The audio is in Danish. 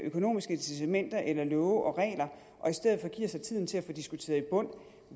økonomiske incitamenter eller love og regler giver sig tiden til at få diskuteret i bund